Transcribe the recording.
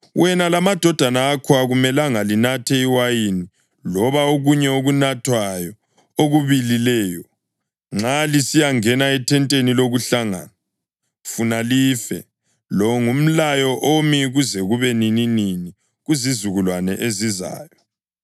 “Wena lamadodana akho akumelanga linathe iwayini loba okunye okunathwayo okubilileyo nxa lisiyangena ethenteni lokuhlangana, funa life. Lo ngumlayo omi kuze kube nininini kuzizukulwane ezizayo.